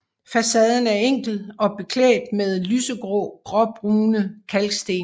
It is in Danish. Facaden er enkel og er beklædt med lyse gråbrune kalksten